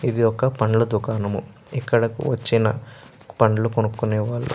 ఇది ఒక పండ్ల దుకాణము ఇక్కడ కు వచ్చిన పండ్లు కొనుక్కునే వాళ్ళు --